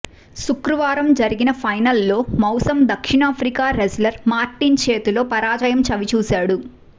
శుక్రవారం జరిగిన ఫైనల్లో మౌసమ్ దక్షిణాఫ్రికా రెజ్లర్ మార్టిన్ చేతిలో పరాజయం చవిచూశాడు